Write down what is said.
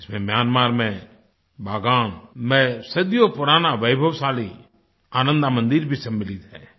इसमें म्यांमार में बागान में सदियों पुराना वैभवशाली आनंद मंदिर भी सम्मलित है